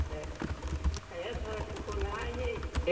né, Aí a senhora ficou lá e aí?